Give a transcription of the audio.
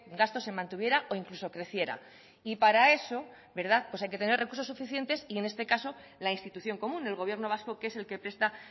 gasto se mantuviera o incluso creciera y para eso verdad pues hay que tener recursos suficientes y en este caso la institución común del gobierno vasco que es el que presta